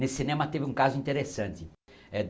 Nesse cinema teve um caso interessante eh.